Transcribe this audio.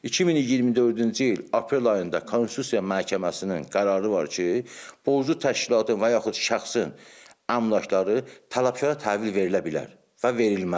2024-cü ilin aprel ayında Konstitusiya məhkəməsinin qərarı var ki, borclu təşkilatın və yaxud şəxsin əmlakları tələpkara təhvil verilə bilər.